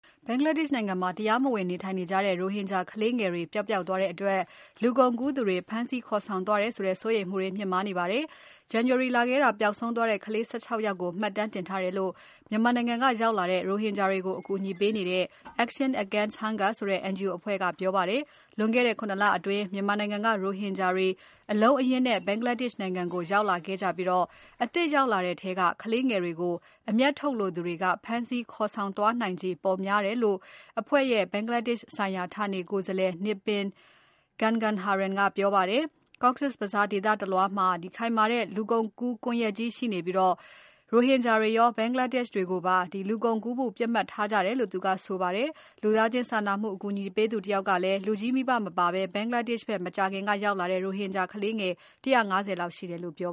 ဘင်္ဂလားဒေရှ့်နိုင်ငံမှာ တရားမဝင်နေထိုင်နေကြတဲ့ ရိုဟင်ဂျာကလေးငယ်တွေ ပျောက်ပျောက်သွားတဲ့အတွက် လူကုန်ကူးသူတွေ ဖမ်းဆီးခေါ်ဆောင်သွားတယ်ဆိုတဲ့ စိုးရိမ်မှုတွေ မြင့်မားနေပါတယ်။ January လထဲက ပျောက်ဆုံးသွားတဲ့ ကလေး ၁၆ ယောက်ကို မှတ်တမ်းတင်ထားတယ်လို့ မြန်မာနိုင်ငံကနေရောက်လာတဲ့ ရိုဟင်ဂျာတွေကို အကူအညီပေးနေတဲ့ Action Against Hunger ဆိုတဲ့ NGO အဖဲ့ွက ပြောပါတယ်။ လွန်ခဲ့တဲ့ ၇ လအတွင်း မြန်မာနိုင်ငံကရိုဟင်ဂျာတွေ အလုံးအရင်းနဲ့ ဘင်္ဂလားဒေရှ့်နိုင်ငံကိုရောက်လာခဲ့ကြပြီး အသစ်ရောက်လာတဲ့ထဲက ကလေးငယ်တွေကို အမြတ်ထုတ်လိုသူတွေက ဖမ်းဆီးခေါ်ဆောင်သွားနိုင်ခြေ ပိုများတယ်လို့ အဖွဲ့ရဲ့ ဘင်္ဂလားဒေရှ့်ဆိုင်ရာဌာနေကိုယ်စားလှယ် Nipin Gangadharan က ပြောပါတယ်။ Cox’s Bazar ဒေသတလွှားမှာ ခိုင်မာတဲ့ လူကုန်ကူးကွန်ယက်ကြီးရှိပြီး ရိုဟင်ဂျာတွေရော ဘင်္ဂလားဒေရှ့်တွေကိုပါ လူကုန်ကူးနိုင်ဖို့ ပစ်မှတ်ထားကြတယ်လို့ သူကဆိုပါတယ်။ လူသားချင်းစာနာမှုအကူအညီပေးသူတယောက်ကလည်း လူကြီးမိဘမပါဘဲ ဘင်္ဂလားဒေရှ့်ဖက် မကြာခင်ကရောက်လာတဲ့ ရိုဟင်ဂျာကလေးငယ် ၁၅၀ လောက်ရှိတယ်လို့ပြော